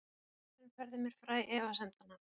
Pósturinn færði mér fræ efasemdanna